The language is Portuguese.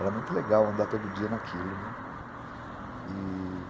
Era muito legal andar todo dia naquilo, né, e...